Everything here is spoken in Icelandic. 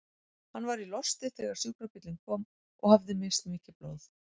Hann var í losti þegar sjúkrabíllinn kom og hafði misst mikið blóð.